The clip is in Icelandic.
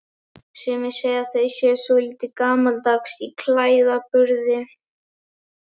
Sumir segja að þau séu svolítið gamaldags í klæðaburði?